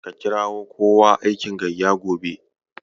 Ka kirawo kowa aikin gayya gobe.